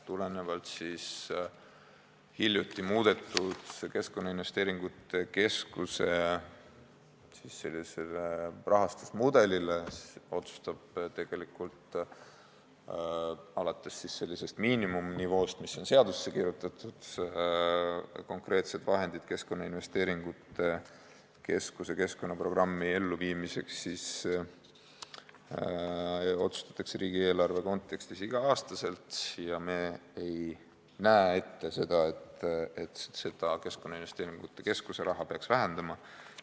Tulenevalt hiljuti muudetud Keskkonnainvesteeringute Keskuse rahastusmudelist otsustatakse alates sellisest miinimumnivoost, mis on seadusesse kirjutatud, konkreetsed vahendid Keskkonnainvesteeringute Keskuse keskkonnaprogrammi elluviimiseks riigieelarve kontekstis igal aastal, ja me ei näe ette, et Keskkonnainvesteeringute Keskuse raha peaks vähendama.